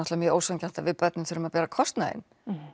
mjög ósanngjarnt að við börnin þurfum að bera kostnaðinn